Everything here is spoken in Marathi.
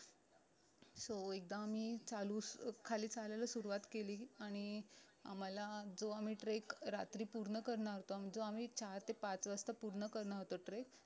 so एकदा आम्ही चालू खाली चालायला सुरवात केली आणि आम्हाला जो आम्ही trek रात्री पूर्ण करणार होतो जो आम्ही चार ते पाच वाजता पूर्ण करणार होतो treck